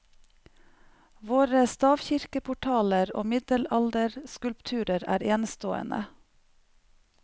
Våre stavkirkeportaler og middelalderskulpturer er enestående.